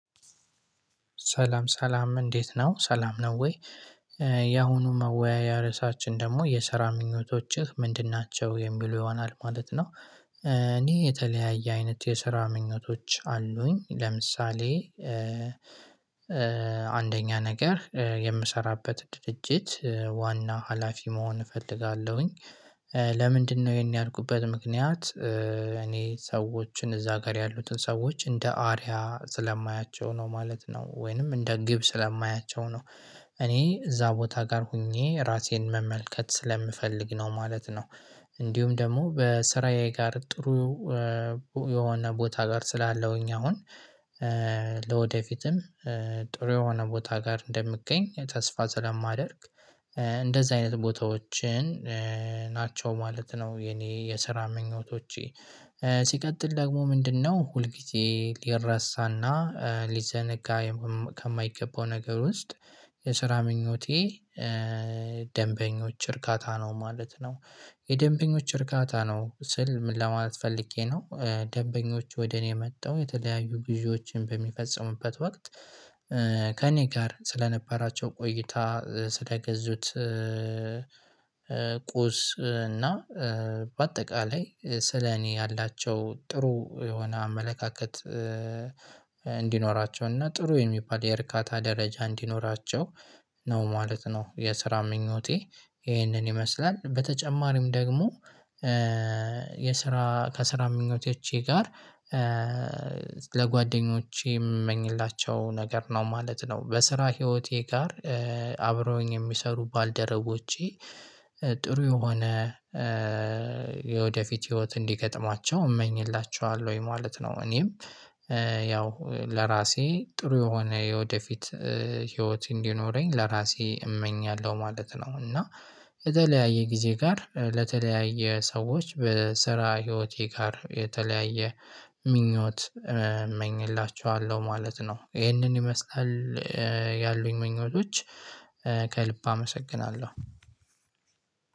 ሰላም ሰላም እንዴት ነው ሰላም ነው ወይ? ያሁኑ መወያያ ርዕሳችን ደግሞ የሰራ ምኞቶችህ ምንድን ናቸው የሚሉ ይሆናል ማለት ነው። እኔ የተለያየ አይነት የሰራ ምኞቶች አሉኝ ለምሳሌ አንደኛ ነገር የምሰራበት ድርጅት ዋና ሀላፊ መሆን እፈልጋለሁኝ። ለምንድነው ይሄን ያልኩበት ምክንያት? እኔ ሰዎችን እዛ ጋር ያሉትን ሰዎች እንደ አርያ ስለማያቸው ነው ማለት ነው ወይንም እንደ ግብ ስለማያቸው ነው። እኔ እዛ ቦታ ጋር ሆኜ ራሴን መመልከት ስለምፈልግ ነው ማለት ነው። እንዲሁም ደግሞ በስራዬ ጋር ጥሩ የሆነ ቦታ ጋር ስላለሁኝ አሁን ለወደፊትም ጥሩ የሆነ ቦታ ጋር እንደምገኝ ተስፋ ስለማደርግ። እንደዚህ አይነት ቦታዎችን ናቸው ማለት ነው። የኔ የስራ ምኞቶቼ ሲቀጥል ደግሞ ምንድነው ሁልጊዜ ሊረሳና ሊዘነጋ ከማይገባው ነገር ውስጥ የስራ ምኞቴ። ደንበኞች እርካታ ነው ማለት ነው። የደንበኞች እርካታ ነው ስል ምን ለማለት ፈልጌ ነው ደንበኞች ወደ እኔ መተው የተለያዩ ግዢዎችን በሚፈጽሙበት ወቅት። ከእኔ ጋር ስለነበራቸው ቆይታ ስለገዙት። ቁስ እና በአጠቃላይ ስለ እኔ ያላቸው ጥሩ የሆነ አመለካከት። እንዲኖራቸው እና ጥሩ የሚባል የእርካታ ደረጃ እንዲኖራቸው ነው ማለት ነው። የስራ ምኞቴ ይህንን ይመስላል በተጨማሪም ደግሞ። የስራ ከስራ ምኞቶቼ ጋር ለጓደኞቼ የምመኝላቸው ነገር ነው ማለት ነው። በስራ ህይወቴ ጋር አብረውኝ የሚሰሩ ባልደረቦቼ ጥሩ የሆነ የወደፊት ህይወት እንዲገጥሟቸው እመኝላችኋለሁኝ ማለት ነው። እኔም ያው ለራሴ ጥሩ የሆነ የወደፊት ህይወት እንዲኖረኝ ለራሴ እመኛለሁ ማለት ነው። እና የተለያየ ጊዜ ጋር ለተለያየ ሰዎች በስራ ህይወቴ ጋር የተለያየ ምኞት እመኝላችኋለሁ ማለት ነው። ይሄንን ይመስላል። ያሉኝ ምኞቶች ከልብ አመሰግናለሁ።